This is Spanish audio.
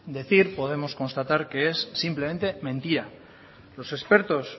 decir podemos constatar que es simplemente mentira los expertos